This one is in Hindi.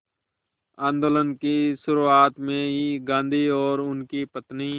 आंदोलन की शुरुआत में ही गांधी और उनकी पत्नी